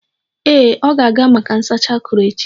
Ee, ọ ga-aga maka nsacha akuru echi.